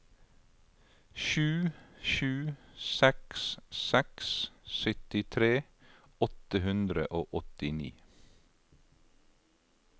sju sju seks seks syttitre åtte hundre og åttini